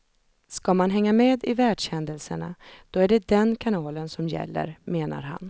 Ska man hänga med i världshändelserna, då är det den kanalen som gäller, menar han.